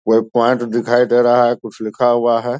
कोई प्‍वाइंट दिखाई दे रहा है कुछ लिखा हुआ है।